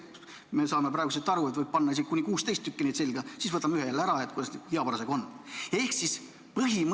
Me saame praegu siit aru, et võib panna isegi kuni 16 tükki neid selga, siis võtame ühe jälle ära, kuidas parasjagu hea on.